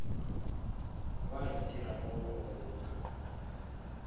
ba itirago ba go loka